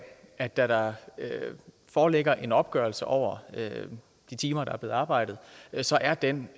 at da der foreligger en opgørelse over de timer der er blevet arbejdet så er den